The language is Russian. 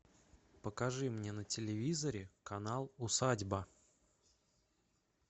покажи мне на телевизоре канал усадьба